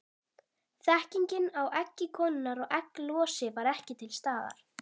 Þekkingin á eggi konunnar og egglosi var ekki til staðar.